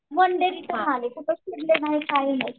One day कुठे फिरले नाही काही नाही.